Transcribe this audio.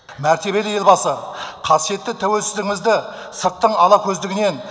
мәртебелі елбасы қасиетті тәуелсіздігімізді сырттың алакөздігінен